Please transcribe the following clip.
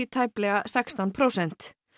tæplega sextán prósent